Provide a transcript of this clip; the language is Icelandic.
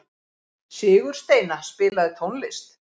Sigursteina, spilaðu tónlist.